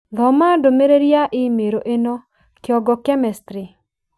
Thoma ndũmĩrĩri ya i-mīrū ĩno: kĩongo chemistry